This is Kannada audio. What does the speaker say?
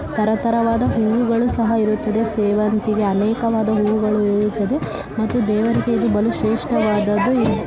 ತರ ತರವಾದ ಹೂವುಗಳು ಸಹ ಇರುತ್ತವೆ ಸೇವಂತಿಗೆ ಅನೇಕವಾದ ಹೂವುಗಳು ಇರುತ್ತದೆ ಮತ್ತು ದೇವರಿಗೆ ಇದು ಬಲು ಶ್ರೇಷ್ಠವಾದದ್ದು--